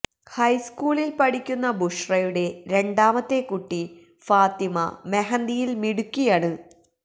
ഹൈസ്ക്കൂളില് പഠിക്കുന്ന ബുഷ്റയുടെ രണ്ടാമത്തെ കുട്ടി ഫാത്തിമ മെഹന്തിയില് മിടുക്കിയാണ്